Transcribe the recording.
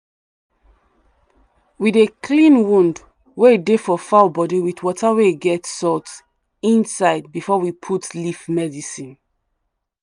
we dey clean wound wey dey for fowl body with water wey get salt inside before we put leaf medicine